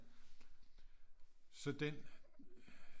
Så den